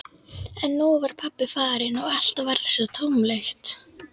En nú var pabbi farinn og allt varð svo tómlegt.